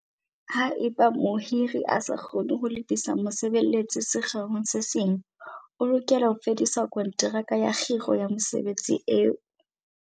Haeba mohiri a sa kgone ho lebisa mosebeletsi sekgeong se seng, o lokela ho fedisa konteraka ya kgiro ya mosebeletsi eo.